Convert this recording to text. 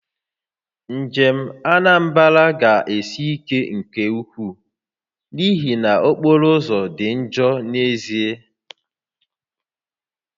Njem Anambra ga-esi ike nke ukwuu n'ihi na okporoụzọ dị njọ n'ezie